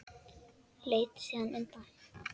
Leit síðan undan.